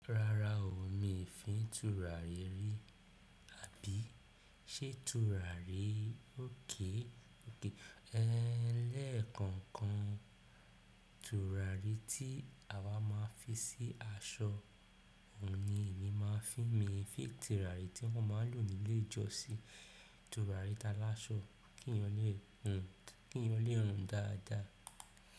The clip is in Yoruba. Rárá o, mi fi tùràrí ri. Àbí, ṣé tùràrí òkè? Lẹ́kọ̀ọ̀kan tùràrí tí awa má n fi sí aṣọ òun ni èmi má n fi, mí fin tùràrí tí wọ́n máa n lò nílé ìjọsìn, tùràrí taláṣọ kí ènìyàn lè rùn dáadáa.